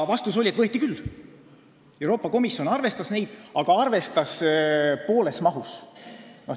Vastus oli, et võeti küll, Euroopa Komisjon arvestas neid, aga pooles mahus.